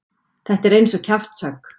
Þetta er eins og kjaftshögg.